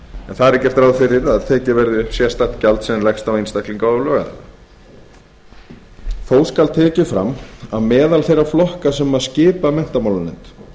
er gert ráð fyrir að tekið verði upp sérstakt gjald sem leggst á einstaklinga og lögaðila þó skal tekið fram að meðal þeirra flokka sem skipa menntamálanefnd